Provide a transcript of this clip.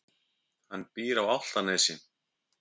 Hann býr á Álftanesi.